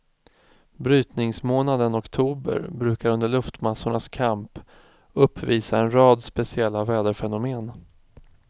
Brytningsmånaden oktober brukar under luftmassornas kamp uppvisa en rad speciella väderfenomen.